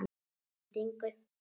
Að endingu